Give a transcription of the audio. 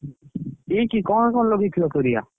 କି କି କଣ କଣ ଲଗେଇଥିଲ ପରିବା?